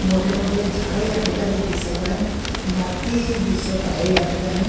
मोठे मोठे झाड याठिकाणी दिसत आहे माती दिसत आहे याठिकाणी--